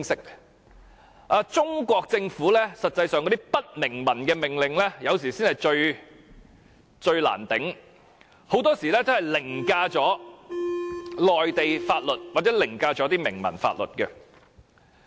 事實上，中國政府的不明文命令才是最令人難以接受的，因為很多時候會凌駕內地法律或明文法律。